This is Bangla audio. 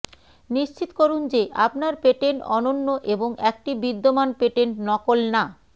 নিশ্চিত করুন যে আপনার পেটেন্ট অনন্য এবং একটি বিদ্যমান পেটেন্ট নকল না